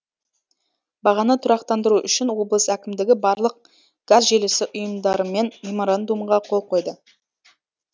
бағаны тұрақтандыру үшін облыс әкімдігі барлық газ желісі ұйымдарымен меморандумға қол қойды